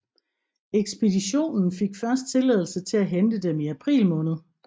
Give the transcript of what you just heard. Ekspeditionen fik først tilladelse til at hente dem i april måned